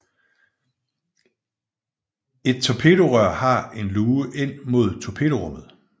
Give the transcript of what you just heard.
Et torpedorør har en luge ind mod torpedorummet